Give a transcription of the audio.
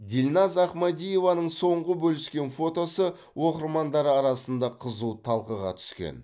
дильназ ахмадиеваның соңғы бөліскен фотосы оқырмандары арасында қызу талқыға түскен